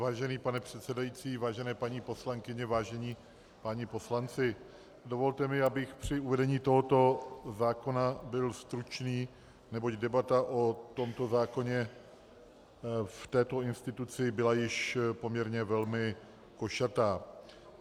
Vážený pane předsedající, vážené paní poslankyně, vážení páni poslanci, dovolte mi, abych při uvedení tohoto zákona byl stručný, neboť debata o tomto zákoně v této instituci byla již poměrně velmi košatá.